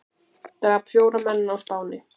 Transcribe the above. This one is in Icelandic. Drap fjóra menn á Spáni